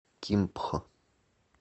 кимпхо